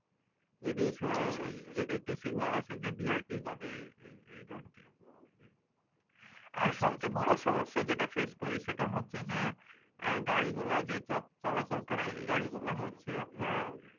যদি একটু সিগনাল আসে যে ভিআইপি যাবে এই রোড দিয়ে আর সবচেয়ে বড় সমস্যা যেটা Face করি সেটা হচ্ছে যে গাড়িগুলো যে চলাচল করে এই গাড়িগুলো হচ্ছে আপনার